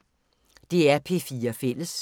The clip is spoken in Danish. DR P4 Fælles